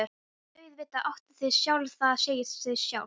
Auðvitað áttu þig sjálf, það segir sig sjálft.